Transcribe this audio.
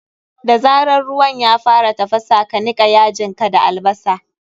Da zarar ruwan ya fara tafasa, ka nika yajin ka albasar.